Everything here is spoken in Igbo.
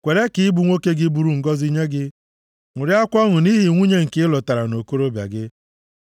Kwere ka ịbụ nwoke gị bụrụ ngọzị nye gị; ṅụrịakwa ọṅụ nʼihi nwunye nke ị lụtara nʼokorobịa gị.